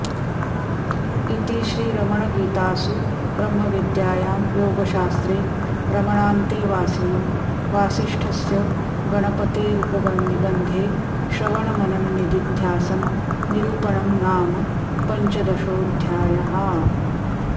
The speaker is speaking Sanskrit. इति श्रीरमणगीतासु ब्रह्मविद्यायां योगशास्त्रे रमणान्तेवासिनो वासिष्ठस्य गणपतेरुपनिबन्धे श्रवणमनननिदिध्यासन निरूपणं नाम पञ्चदशोऽध्यायः